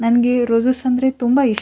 ನನಗೆ ಈ ರೋಸಸ್ ಅಂದ್ರೆ ತುಂಬ ಇಷ್ಟ --